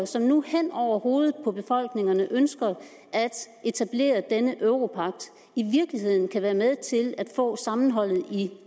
som nu hen over hovedet på befolkningerne ønsker at etablere denne europagt i virkeligheden kan være med til at få sammenholdet i